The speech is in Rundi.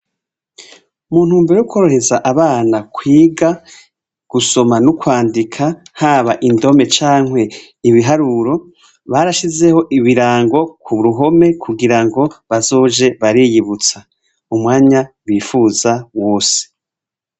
Mu ntumbero yo kworohereza abana kwiga gusoma n'ukwandika, haba indome cankwe ibiharuro, barashizeho ibirango ku ruhome kugira ngo bazoje bariyibutsa umwanya bifuza wose.